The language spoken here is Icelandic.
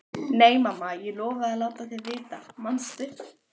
Nei, mamma, ég lofaði að láta þig vita, manstu?